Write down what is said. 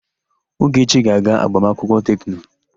Ogechi ga-aga agbamakwụkwọ Tekno.